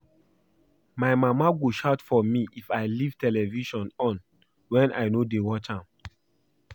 My mama go shout for me if I leave television on wen I no dey watch am